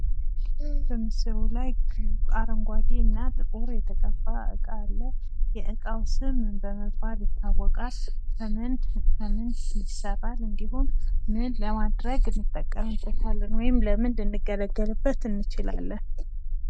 በምስሉ ላይ አረንጓዴ እና ጥቁር የተቀባ እቃ አለ። የእቃው ስም ምን በመባል ይታወቃል? ከምን ከምን ይሰራል? እንዲሁም ምን ለማድረግ እንጠቀምበታለን ወይም ለምን ልንገለገልበት እንችላለን?